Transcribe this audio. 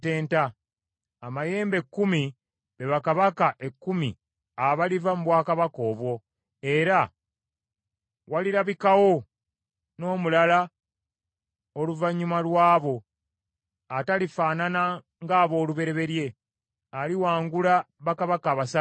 Amayembe ekkumi, be bakabaka ekkumi abaliva mu bwakabaka obwo, era walirabikawo n’omulala oluvannyuma lw’abo, atalifaanana ng’aboolubereberye. Aliwangula bakabaka basatu.